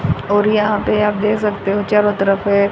और यहां पर आप दे सकते हो चारों तरफ से--